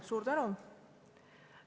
Suur tänu!